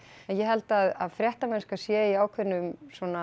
ég held að fréttamennska sé í ákveðnum